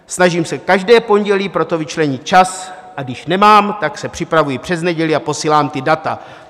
Snažím se každé pondělí pro to vyčlenit čas, a když nemám, tak se připravuji přes neděli a posílám ta data.